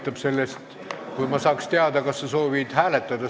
Aitab sellest, kui ma saaks teada, kas sa soovid seda hääletada.